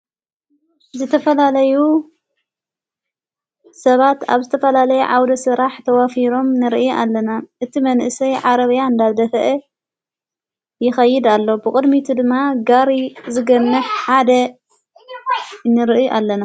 ዘተፈላለዩ ሰባት ኣብ ዝተፈላለይ ዓውደ ሥራሕ ተዋፊሮም ንርኢ ኣለና እቲ መንእሰይ ዓረበያ እንዳብደህአ ይኸይድ ኣሎ ብቕድሚቱ ድማ ጋሪ ዘገነኅ ሓደ ንርኢ ኣለና።